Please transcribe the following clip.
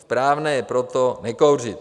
Správné je proto nekouřit.